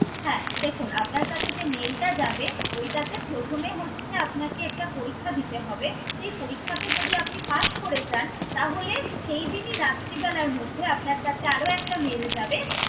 হ্যা দেখুন, আপনার কাছে যে mail টা যাবে ওইটাতে প্রথমে হচ্ছে আপনাকে একটা পরীক্ষা দিতে হবে। সেই পরীক্ষাতে যদি আপনি pass করে যান তাহলে সেই দিনই রাত্রিবেলার মধ্যে আপনার কাছে আরও একটা mail যাবে।